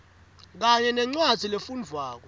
kanye nencwadzi lefundvwako